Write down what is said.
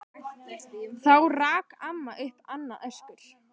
Þá rak amma upp annað öskur.